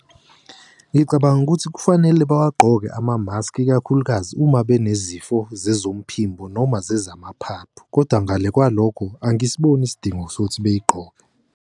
Ngicabanga ukuthi kufanele bawagqoke amamaski ikakhulukazi uma banezifo zezomphimbo nezamaphaphu kodwa ngale kwalokho angisiboni isidingo sokuthi beyigqoke.